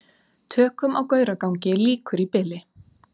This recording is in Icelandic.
Tökum á Gauragangi lýkur í bili